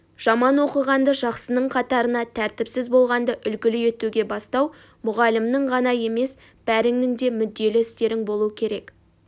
жаман оқығанды жақсының қатарына тәртіпсіз болғанды үлгілі етуге бастау мұғалімінің ғана емес бәріңнің де мүдделі істерің болуы керек